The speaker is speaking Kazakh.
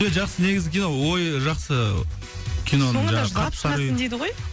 жақсы негізі кино ойы жақсы киноның соңында жылап шығасың дейді ғой